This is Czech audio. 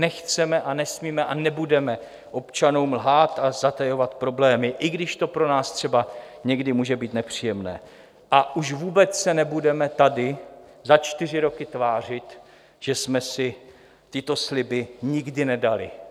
Nechceme a nesmíme a nebudeme občanům lhát a zatajovat problémy, i když to pro nás třeba někdy může být nepříjemné, a už vůbec se nebudeme tady za čtyři roky tvářit, že jsme si tyto sliby nikdy nedali.